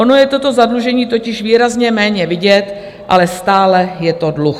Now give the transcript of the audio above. Ono je to zadlužení totiž výrazně méně vidět, ale stále je to dluh.